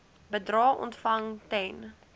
bedrae ontvang ten